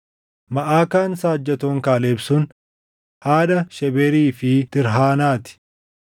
Maʼakaan saajjatoon Kaaleb sun haadha Shebeerii fi Tirhaanaa ti.